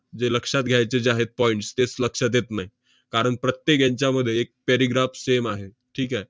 जे लक्षात घ्यायचे जे आहेत points तेच लक्षात येत नाही. कारण प्रत्येक हेंच्यामध्ये एक paragraph same आहे. ठीक आहे?